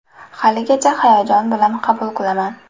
Haligacha hayajon bilan qabul qilaman.